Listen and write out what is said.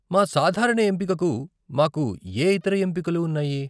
మా సాధారణ ఎంపికకు మాకు ఏ ఇతర ఎంపికలు ఉన్నాయి?